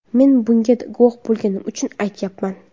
Men bunga guvoh bo‘lganim uchun aytyapman.